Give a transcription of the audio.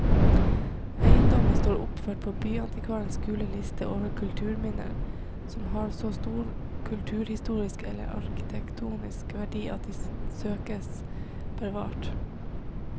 Eiendommen står oppført på byantikvarens gule liste over kulturminner som har så stor kulturhistorisk eller arkitektonisk verdi at de søkes bevart.